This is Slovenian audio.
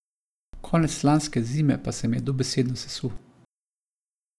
Konec lanske zime pa se mi je dobesedno sesul.